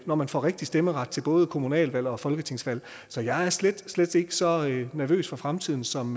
når man får rigtig stemmeret til både kommunalvalg og folketingsvalg så jeg er slet slet ikke så nervøs for fremtiden som